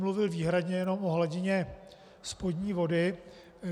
Mluvil výhradně jenom o hladině spodní vody.